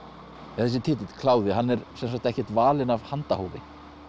þessi titill kláði hann er sem sagt ekkert valinn af handahófi